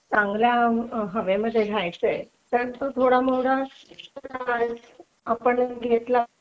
UNIN